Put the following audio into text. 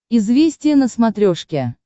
известия на смотрешке